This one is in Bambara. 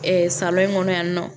salon in kɔnɔ yan nɔ